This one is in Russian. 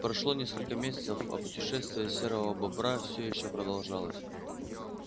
прошло несколько месяцев а путешествие серого бобра все ещё продолжалось